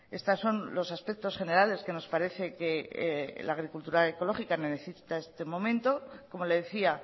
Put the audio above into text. estos son los aspectos generales que nos parece que la agricultura ecológica necesita en este momento como le decía